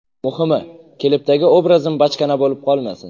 Muhimi, klipdagi obrazim bachkana bo‘lib qolmasin.